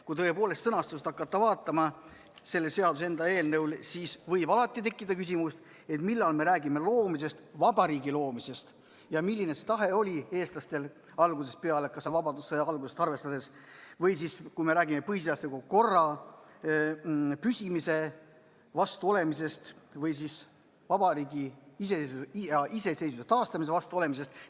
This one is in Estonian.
Kui hakata vaatama selle seaduseelnõu sõnastust, siis võib alati tekkida küsimus, millal me räägime vabariigi loomisest ja milline oli algusest peale eestlaste tahe, arvestades kas või vabadussõja algusest, kui me räägime põhiseadusliku korra püsimise vastu olemisest või siis vabariigi iseseisvuse ja iseseisvuse taastamise vastu olemisest.